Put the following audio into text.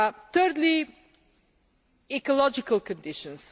Thirdly, ecological conditions.